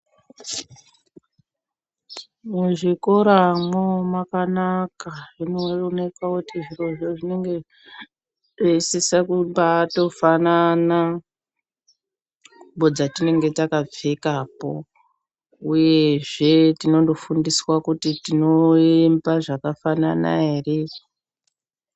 Muzvikoramwo makanaka zvinooneka kuti zvirozvo zvinenge zveisisa kumbatofanana ngubo dzatinenge takapfekapo uyezve tinondofundiswa kuti tinoemba zvakafanana ere.